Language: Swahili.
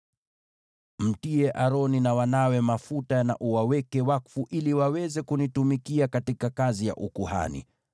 “Mtie Aroni na wanawe mafuta na uwaweke wakfu ili waweze kunitumikia katika kazi ya ukuhani.